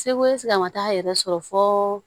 Segu segu a ma taa yɛrɛ sɔrɔ fo